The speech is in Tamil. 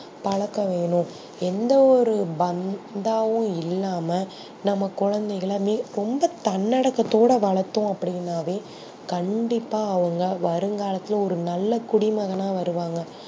பழக்கவேணும் எந்த ஒரு பந்தாவும் இல்லாம நம்ப குழந்தைகல ரொம்ப தன்ன அடக்கத்தோட வளத்தோம் அப்டி இன்னாவே கண்டிப்பா அவங்க வருங்காலதுல ஒரு நல்ல குடிமகனா வருவாங்க